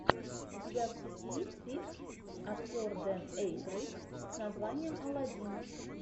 у тебя в списке есть фильм актер дэн эйкройд с названием алладин